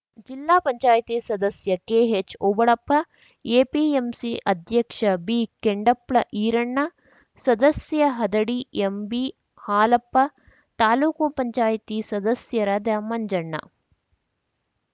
ಜಿಲ್ಲಾ ಪಂಚಾಯ್ತಿ ಸದಸ್ಯ ಕೆಎಚ್‌ಓಬಳಪ್ಪ ಎಪಿಎಂಸಿ ಅಧ್ಯಕ್ಷ ಬಿಕೆಂಡಪ್ಳ ಈರಣ್ಣ ಸದಸ್ಯ ಹದಡಿ ಎಂಬಿಹಾಲಪ್ಪ ತಾಲೂಕು ಪಂಚಾಯ್ತಿ ಸದಸ್ಯರಾದ ಮಂಜಣ್ಣ